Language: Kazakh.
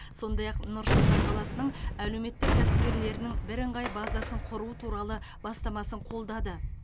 сондай ақ нұр сұлтан қаласының әлеуметтік кәсіпкерлерінің бірыңғай базасын құру туралы бастамасын қолдады